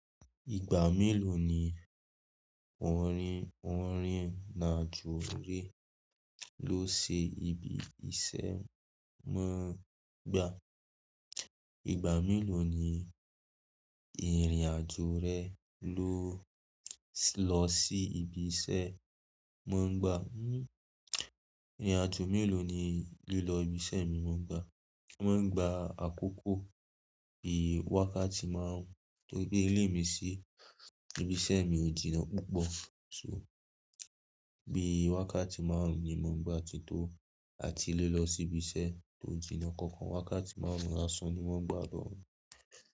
Ìgbà mélòó ni oun ni oun ni ìrìn-àjò re ló lọ sí ibi iṣẹ́ móń gbá? Ìgbà mélòó ni ìrìn-àjò rẹ ló lọ sí ibi iṣẹ́ móń gbá? Ìrìn-àjò mélòó ni lílọ ibi iṣẹ́ mi wón ń gbá? Wón ń gbá àkókò bí wákàtí máaruń, torí pe ilé mi sí ibi iṣẹ́ mi ò jìnnà púpọ̀. So bí wákàtí máaruń ni mọn ń gbá tí tó a ti lé lọ sí ibi iṣẹ́ tó jìnnà. Kankan wákàtí máaruń lásán ni wón ń gbá lọ́hùn.